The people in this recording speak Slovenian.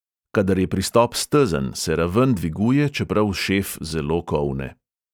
Kadar je pristop stezen, se raven dviguje, čeprav šef zelo kolne.